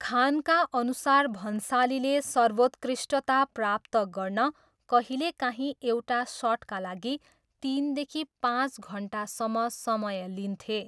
खानका अनुसार भन्सालीले 'सर्वोत्कृष्टता' प्राप्त गर्न कहिलेकाहीँ एउटा सटका लागि तिनदेखि पाँच घन्टासम्म समय लिन्थे।